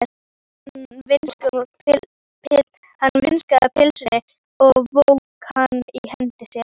Hann vingsaði pylsunni og vóg hana í hendi sér.